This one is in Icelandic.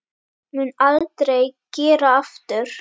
Mun aldrei gera aftur.